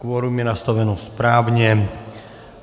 Kvorum je nastaveno správně.